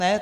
Ne?